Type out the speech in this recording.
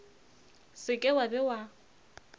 se ke wa be wa